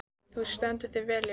Þú stendur þig vel, Lilja!